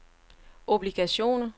obligationer